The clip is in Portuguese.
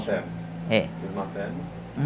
Paternos. É.